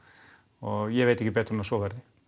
og ég veit ekki betur en að svo verði